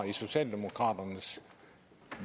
i socialdemokraternes